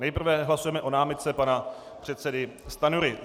Nejprve hlasujeme o námitce pana předsedy Stanjury.